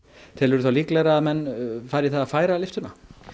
telurðu þá líklegra að menn fari í það færa lyftuna